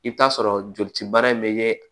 I bɛ t'a sɔrɔ jolici baara in bɛ kɛɛ